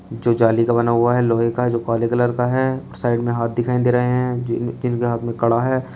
जो जाली का बना हुआ है लोहे का जो काले कलर का है और साइड में हाथ दिखाई दे रहे हैं जि जिनके हाथ में कड़ा है।